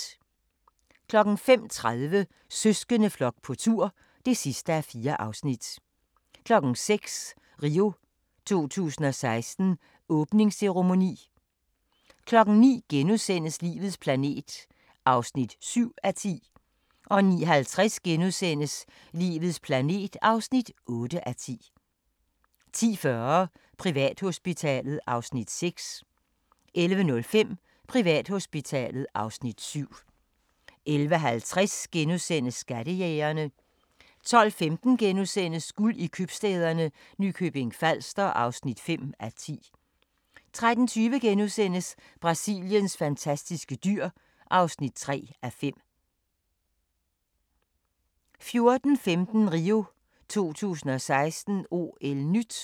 05:30: Søskendeflok på tur (4:4) 06:00: RIO 2016: Åbningsceremoni 09:00: Livets planet (7:10)* 09:50: Livets planet (8:10)* 10:40: Privathospitalet (Afs. 6) 11:05: Privathospitalet (Afs. 7) 11:50: Skattejægerne * 12:15: Guld i købstæderne – Nykøbing Falster (5:10)* 13:20: Brasiliens fantastiske dyr (3:5)* 14:15: RIO 2016: OL-NYT